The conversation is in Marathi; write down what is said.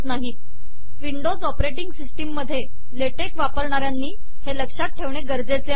िवंडोज ऑपरेिटंग िसिसटम मधे लेटेक वापरणाऱयानी हे लकात ठेवणे गरजेचे आहे